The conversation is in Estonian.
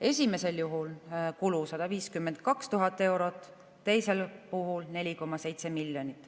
Esimesel juhul on kulu 152 000 eurot, teisel puhul 4,7 miljonit.